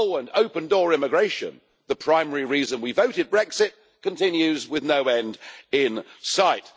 And open door immigration, the primary reason we voted Brexit, continues with no end in sight.